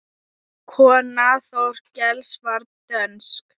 Kona Þorkels var dönsk.